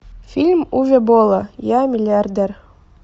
фильм уве болла я миллиардер